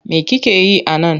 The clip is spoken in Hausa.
Me kike yi a nan?